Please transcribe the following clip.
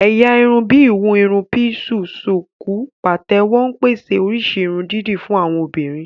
Ẹ̀yà irun bíi ìhun irun píísì, ṣùkú, pàtẹ́wọ́ ń pèsè oríṣi irun dídì fún àwọn obìnrin